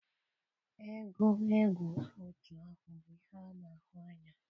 egwu egwu otu ahụ bụ ihe a na-ahụ anya.